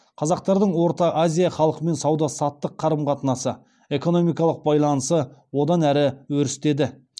қазақтардың орта азия халқымен сауда саттық қарым қатынасы экономикалық байланысы одан әрі өрістеді